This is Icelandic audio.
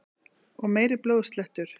Og meiri blóðslettur!